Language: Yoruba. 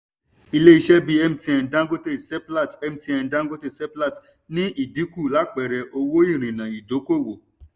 ilé iṣé bí mtn dangote seplat mtn dangote seplat ní ìdìnkú lápẹẹrẹ owó ìrìnà ìdọ́kowọ̀.